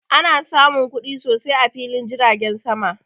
Ana samun kuɗi sosai a filin jiragen sama